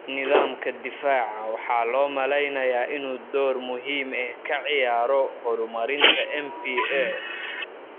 Nidaamka difaaca waxaa loo maleynayaa inuu door muhiim ah ka ciyaaro horumarinta MPA.